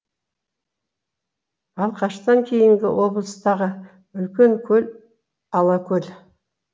балқаштан кейінгі облыстағы үлкен көл алакөл